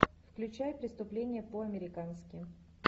включай преступление по американски